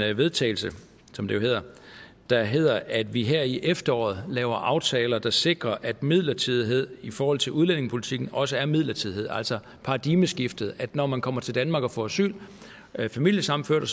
vedtagelse som det jo hedder der hedder at vi her i efteråret laver aftaler der sikrer at midlertidighed i forhold til udlændingepolitikken også er midlertidighed altså paradigmeskiftet at når man kommer til danmark og får asyl familiesammenførte